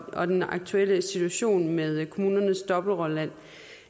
og den aktuelle situation med kommunernes dobbeltrolle